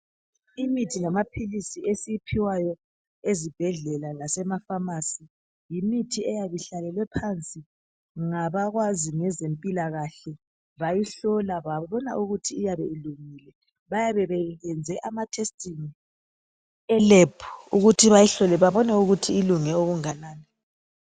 Imithi lamaphilisi esiyiphiwayo ezibhedlela lasema"pharmacy" yimithi eyabe ihlalelwe phansi ngabakwazi ngezempilakahle bayihlola babona ukuthi iyabe ilungile .Bayabe beyenze ama"testing" e"lab"ukuthi bayihlole babone ukuthi ilung okunganani .